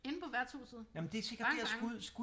Inde på værtshuset bang bang